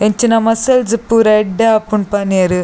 ಇಂಚಿನ ಮಸ್ಸಲ್ಸ್ ಪೂರ ಎಡ್ಡೆ ಆಪುಂಡು ಪನಿಯೆರ್.